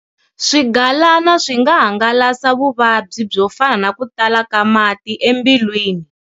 Swigalana swi nga hangalasa vuvabyi byo fana na ku tala ka mati embilwini.